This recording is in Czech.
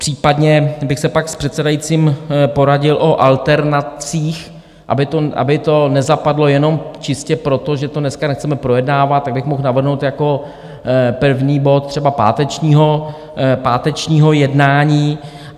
Případně bych se pak s předsedajícím poradil o alternacích, aby to nezapadlo jenom čistě proto, že to dneska nechceme projednávat, tak bych mohl navrhnout jako první bod třeba pátečního jednání.